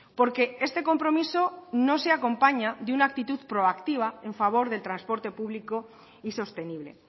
porque este compromiso no se acompaña de una actitud proactiva en favor del transporte público y sostenible